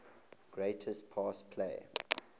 greatest pass play